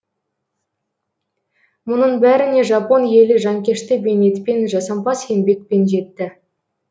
мұның бәріне жапон елі жанкешті бейнетпен жасампаз еңбекпен жетті